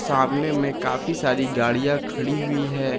सामने में काफी सारी गाड़ियां खड़ी हुई है।